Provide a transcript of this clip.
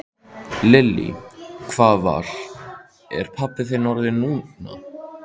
Lillý: Hvað var, er pabbi þinn orðinn núna?